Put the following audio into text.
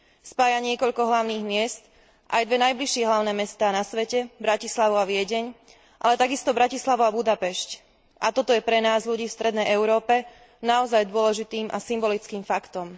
Spája niekoľko hlavných miest, aj dve najbližšie hlavné mestá na svete, Bratislavu a Viedeň, ale takisto Bratislavu a Budapešť, a toto je pre nás, ľudí v strednej Európe, naozaj dôležitým a symbolickým faktom.